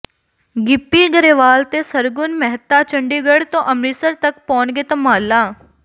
ਗਿੱਪੀ ਗਰੇਵਾਲ ਤੇ ਸਰਗੁਣ ਮਹਿਤਾ ਚੰਡੀਗੜ੍ਹ ਤੋਂ ਅੰਮ੍ਰਿਤਸਰ ਤੱਕ ਪਾਉਣਗੇ ਧਮਾਲਾਂ